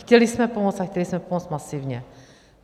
Chtěli jsme pomoct a chtěli jsme pomoct masivně.